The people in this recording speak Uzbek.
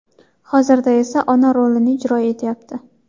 Hozirda esa ona rolini ijro etyapti.